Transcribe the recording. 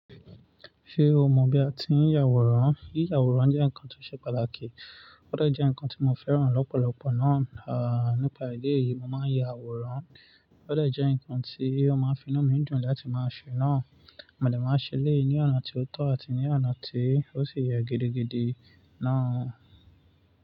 Ṣé o mọ̀ bí a ti ń ya àwòrán? Yíya àwòrán jẹ́ nǹkan tó ṣe pàtàkì, ó de jẹ́ nǹkan tí mo fẹ́ràn lọ́pọ̀lọpọ̀ náà, ah, nípa ìdí èyí, mo máa ń ya àwòrán, ó de jẹ́ nǹkan tí ó máa finú mi dùn láti máa ṣe náà, mo dè máa ṣe lé ní ọ̀nà tí ó tọ́ àti ní ọ̀nà tí ó sì yẹ gidigidi náà.